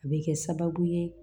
A bɛ kɛ sababu ye